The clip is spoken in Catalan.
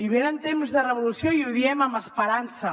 venen temps de revolució i ho diem amb esperança